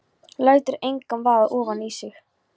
Lætur engan vaða ofan í sig.